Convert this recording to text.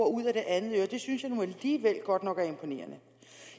og ud ad det andet øre synes jeg nu alligevel godt nok er imponerende